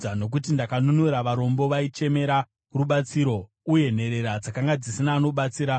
nokuti ndakanunura varombo vaichemera rubatsiro, uye nherera dzakanga dzisina anobatsira.